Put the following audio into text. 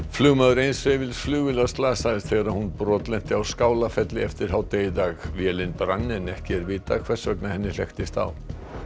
flugmaður eins hreyfils flugvélar slasaðist þegar hún brotlenti á Skálafelli eftir hádegi í dag vélin brann en ekki er vitað hvers vegna henni hlekktist á